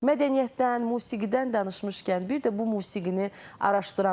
Mədəniyyətdən, musiqidən danışmışkən, bir də bu musiqini araşdıranlar var.